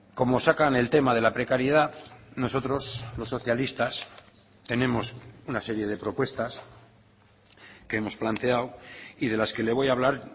como sacan el tema de la precariedad nosotros los socialistas tenemos una serie de propuestas que hemos planteado y de las que le voy a hablar